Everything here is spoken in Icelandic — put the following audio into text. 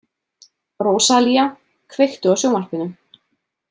Rósalía, kveiktu á sjónvarpinu.